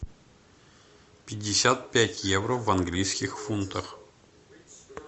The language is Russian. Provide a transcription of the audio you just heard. пятьдесят пять евро в английских фунтах